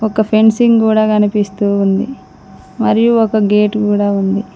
ఒక ఫెన్సింగ్ గోడ కనిపిస్తూ ఉంది మరియు ఒక గేట్ కూడా ఉంది.